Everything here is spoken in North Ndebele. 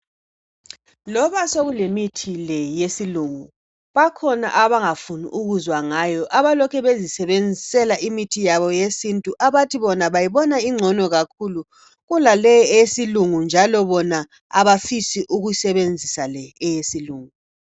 Loba sokulemithi le yesilungu bakhona abangafuni ukuzwa ngayo abalokhe bezisebenzisela imithi yabo yesintu abathi bona bayibona ingcono kakhulu kulaleyi eyesilungu njalo bona abafisi ukusebenzisa le eyesilungu